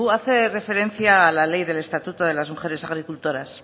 hace referencia a la ley del estatuto de las mujeres agricultoras